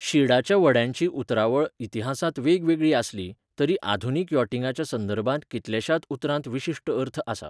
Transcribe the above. शिडाच्या व्हड्यांची उतरावळ इतिहासांत वेगवेगळी आसली, तरी आधुनीक यॉटिंगाच्या संदर्भांत कितल्याशात उतरांत विशिश्ट अर्थ आसा.